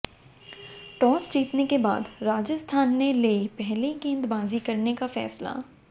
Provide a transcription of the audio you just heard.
toss जीतने के बाद राजस्थान ने लिए पहले गेंदबाजी करने का फैसला